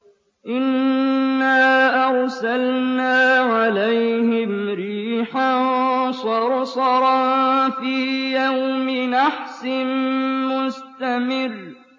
إِنَّا أَرْسَلْنَا عَلَيْهِمْ رِيحًا صَرْصَرًا فِي يَوْمِ نَحْسٍ مُّسْتَمِرٍّ